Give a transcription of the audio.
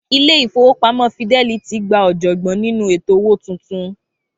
Ilé-ìfowópamó Fidelity gba òjògbọ́n nínú ètò owó tuntun.